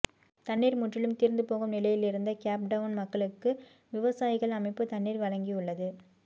தண்ணீர் முற்றிலும் தீர்ந்து போகும் நிலையிலிருந்த கேப் டவுன் மக்களுக்கு விவசாயிகள் அமைப்பு தண்ணீர் வழங்கியுள்ளது